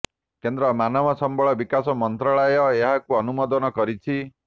କେନ୍ଦ୍ର ମାନବ ସମ୍ବଳ ବିକାଶ ମନ୍ତ୍ରଣାଳୟ ଏହାକୁ ଅନୁମୋଦନ କରିଛି